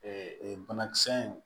banakisɛ in